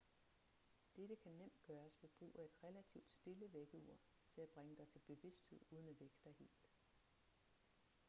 dette kan nemt gøres ved brug af et relativt stille vækkeur til at bringe dig til bevidsthed uden at vække dig helt